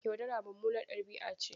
Yaudara mummunar ɗabi'a ce.